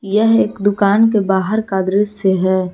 यह एक दुकान के बाहर का दृश्य है।